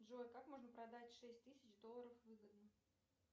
джой как можно продать шесть тысяч долларов выгодно